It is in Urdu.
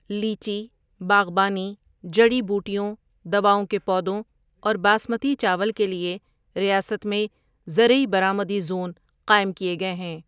لیچی، باغبانی، جڑی بوٹیوں، دواؤں کے پودوں اور باسمتی چاول کے لیے ریاست میں زرعی برآمدی زون قائم کیے گئے ہیں۔